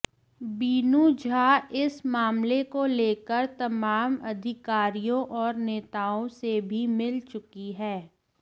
बीनू झा इस मामले को लेकर तमाम अधिकारियों और नेताओं से भी मिल चुकी हैं